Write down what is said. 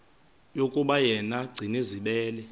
yokuba yena gcinizibele